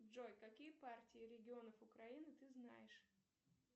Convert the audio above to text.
джой какие партии регионов украины ты знаешь